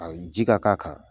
Ayi ji ka k'a kan